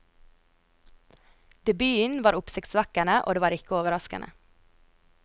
Debuten var oppsiktsvekkende, og det var ikke overraskende.